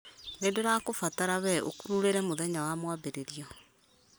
nĩ ndĩrakũbatara wee ũkururĩre mũthenya wa mwambĩrĩrio